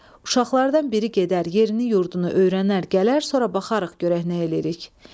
Uşaqlardan biri gedər, yerini-yurdunu öyrənər, gələr, sonra baxarıq, görərik, nə eləyirik."